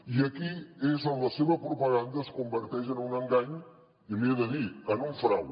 i aquí és on la seva propaganda es converteix en un engany i li ho he de dir en un frau